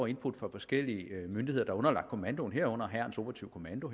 input fra forskellige myndigheder der er underlagt kommandoen herunder hærens operative kommando